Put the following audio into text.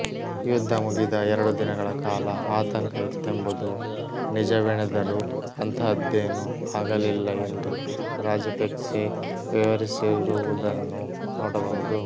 ಯುದ್ಧ ಮುಗಿದ ಎರಡು ದಿನಗಳ ಕಾಲ ಆತಂಕ ಇತ್ತೆಂಬುದು ನಿಜವೆಣದರೂ ಅಂತಹದ್ದೇನು ಆಗಲಿಲ್ಲ ಎಂದು ರಾಜಪೆಕ್ಸೆ ವಿವರಿಸಿರುವುದನ್ನು ನೋಡಬಹುದು